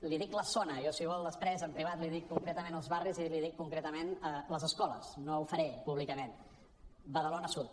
li’n dic la zona jo si vol després en privat li’n dic concretament els barris i li’n dic concretament les escoles no ho faré públicament badalona sud